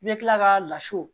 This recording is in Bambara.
I bɛ tila ka laso